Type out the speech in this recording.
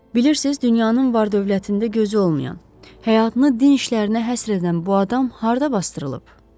Bilirsiz, dünyanın var-dövlətində gözü olmayan, həyatını din işlərinə həsr edən bu adam harda basdırılıb?